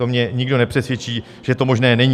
To mě nikdo nepřesvědčí, že to možné není.